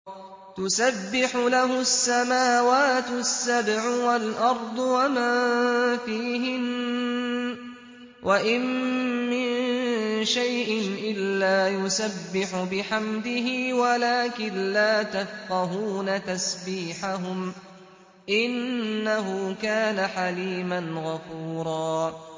تُسَبِّحُ لَهُ السَّمَاوَاتُ السَّبْعُ وَالْأَرْضُ وَمَن فِيهِنَّ ۚ وَإِن مِّن شَيْءٍ إِلَّا يُسَبِّحُ بِحَمْدِهِ وَلَٰكِن لَّا تَفْقَهُونَ تَسْبِيحَهُمْ ۗ إِنَّهُ كَانَ حَلِيمًا غَفُورًا